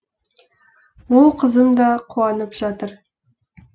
ол қызым да қуанып жатыр